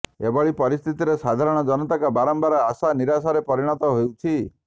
ଏଭଳି ସ୍ଥିତିରେ ସାଧାରଣ ଜନତାଙ୍କ ବାରମ୍ବାର ଆଶା ନିରାଶାରେ ପରିଣତ ହେଉଛି